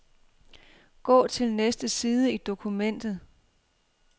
Gå til næste side i dokumentet.